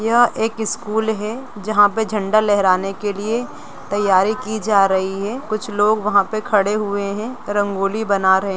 यह एक स्कूल है जहाँ पे झंडा लहराने के लिए तैयारी की जा रही है कुछ लोग वहाँ पे खड़े हुए हैं रंगोली बना रहे --